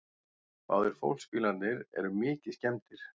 Báðir fólksbílarnir eru mikið skemmdir